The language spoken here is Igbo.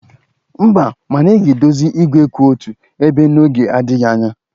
Mba, mana a ga-edozi igwe kwụ otu ebe n'oge adịghị anya